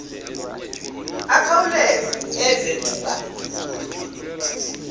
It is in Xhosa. akhawuleze eve kuba